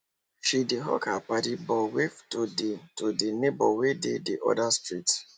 she dey hug her paddy but wave to the to the neighbor wey dey the other street